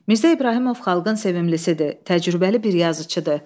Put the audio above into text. Mirzə İbrahimov xalqın sevimlisi idi, təcrübəli bir yazıçıdır.